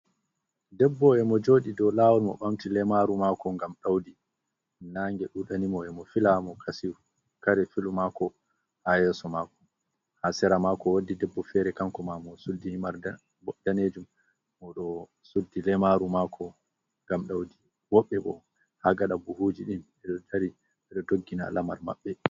Debbo e mo joɗi dou lawol mo ɓamti leimaru mako ngam ɗaudi, nange ɗu ɗani mo e ye mo fila mo kare filu mako ha yeeso mako, ha sera mako woddi debbo fere kanko ma mo suddi himar ɗanejum mo ɗo suddi lemaru mako ngam ɗaudi, woɓɓe bo ha gaɗa buhuji ɗin e ɗo tari ɓeɗo doggina lamar maɓɓe.